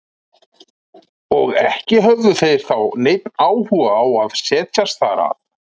Og ekki höfðu þeir þá neinn áhuga á að setjast þar að.